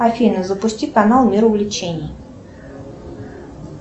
афина запусти канал мир увлечений